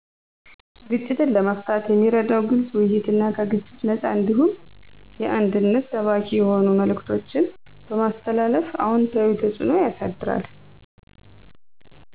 ግጭትን ለመፍታት የሚረዳው ግልፅ ውይይትና ከግጭት ነፃ እንዲሁም አንድነትን ሰባኪ የሆኑ መልዕክቶችን በማስተላለፍ አዎንታዊ ተፅኖ ያሳድራል።